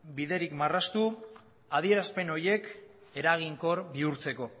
biderik marraztu adierazpen horiek eraginkor bihurtzeko